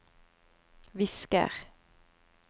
visker